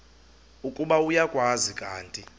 ukuba uyakwazi kanti